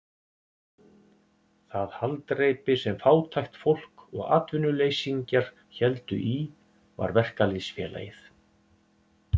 Það haldreipi sem fátækt fólk og atvinnuleysingjar héldu í var verkalýðsfélagið.